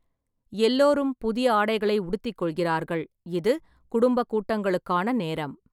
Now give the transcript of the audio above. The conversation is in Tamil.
எல்லோரும் புதிய ஆடைகளை உடுத்திக் கொள்கிறார்கள், இது குடும்பக் கூட்டங்களுக்கான நேரம்.